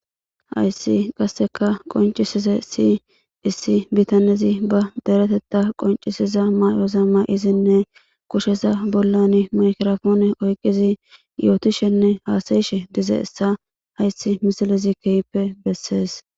Hayssi qassi qonc'isizayssi issi bitanezi badereteththa qqonc'isiza mamayoza mayidinne bakushe bolla maygrspoonne oykidi nashshishe de7izayssa bessees.